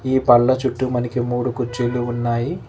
ఈ పండ్ల చుట్టూ మనకి మూడు కుర్చీలు ఉన్నాయి.